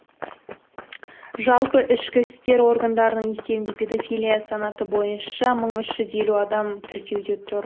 жалпы ішкі істер органдарының есебінде педофилия санаты бойынша мың үш жүз елу адам тіркеуде тұр